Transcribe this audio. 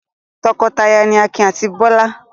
Tọkọtaya ni Akin àti Bọ́lá.